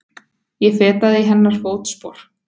Ég fetaði í hennar fótspor.